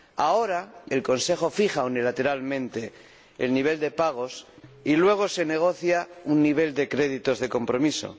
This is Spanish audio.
Ahora el Consejo fija unilateralmente el nivel de créditos de pago y luego se negocia un nivel de créditos de compromiso.